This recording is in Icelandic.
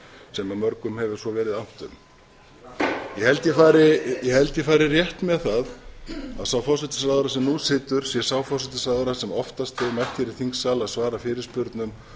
sem mörgum hefur svo verið annt um ég held ég fari rétt með það að sá forsætisráðherra sem nú situr sé sá forsætisráðherra sem oftast hefur mætt hér í þingsal að svara fyrirspurnum